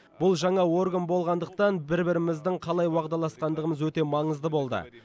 бұл жаңа орган болғандықтан бір біріміздің қалай уағдаласқандығымыз өте маңызды болды